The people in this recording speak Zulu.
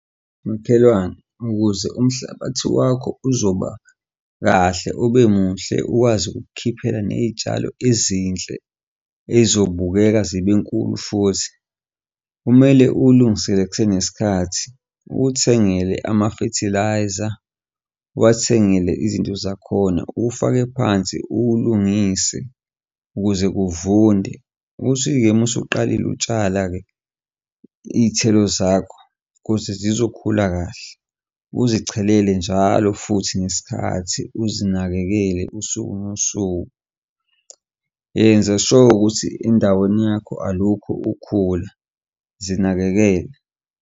Makhelwane, ukuze umhlabathi wakho uzoba kahle ube muhle ukwazi nokukukhiphela ney'tshalo ezinhle ezobukeka zibe nkulu futhi, kumele uwulungisele kusenesikhathi, uwuthengele ama-fertiliser, uwathengele izinto zakhona, uwufake phansi uwulungise ukuze kuvunde. Uthi-ke uma uma usuqalile utshala-ke iy'thelo zakho ukuze zizokhula kahle. Uzichelele njalo futhi ngesikhathi uzinakekele usuku nosuku. Enza sure ukuthi endaweni yakho alukho ukhula, zinakekele.